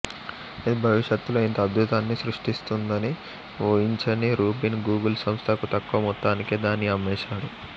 అది భవిష్యత్తులో ఇంత అద్భుతాన్ని సృష్టిస్తుందనివూహించని రుబిన్ గూగుల్ సంస్థకు తక్కువ మొత్తానికే దాన్ని అమ్మేశాడు